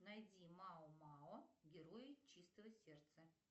найди мао мао герои чистого сердца